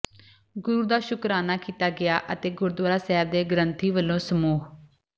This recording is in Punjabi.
ਗੁਰੂ ਦਾ ਸ਼ੁਕਰਾਨਾ ਕੀਤਾ ਗਿਆ ਅਤੇ ਗੁਰਦੁਆਰਾ ਸਾਹਿਬ ਦੇ ਗ੍ਰੰਥੀ ਵੱਲੋਂ ਸਮੂਹ